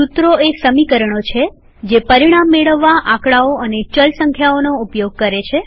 સુત્રો એ સમીકરણો છે જે પરિણામ મેળવવા આંકડાઓ અને ચલ સંખ્યાઓનો ઉપયોગ કરે છે